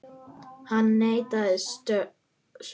Hann neitar sök.